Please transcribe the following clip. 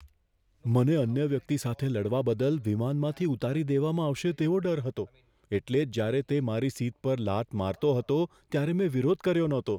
મને અન્ય વ્યક્તિ સાથે લડવા બદલ વિમાનમાંથી ઉતારી દેવામાં આવશે તેવો ડર હતો, એટલે જ જ્યારે તે મારી સીટ પર લાત મારતો રહ્યો ત્યારે મેં વિરોધ કર્યો નહોતો.